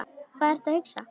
Hvað ertu að hugsa?